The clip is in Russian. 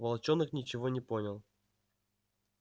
волчонок ничего не понял